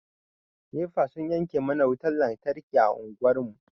Nefa sun yanke mana wutan lantarki a anguwar mu.